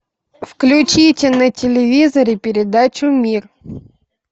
включите на телевизоре передачу мир